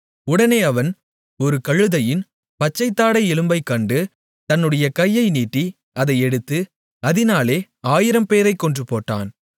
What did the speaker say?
உடனே அவன் ஒரு கழுதையின் பச்சைத் தாடை எலும்பைக் கண்டு தன்னுடைய கையை நீட்டி அதை எடுத்து அதினாலே 1000 பேரைக் கொன்றுபோட்டான்